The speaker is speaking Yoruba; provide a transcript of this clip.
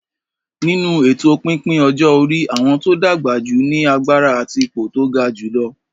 Nínú èto pípín ọjọ́ orí, àwọn tó dàgbà jù ní agbára àti ipò tó ga jùlọ.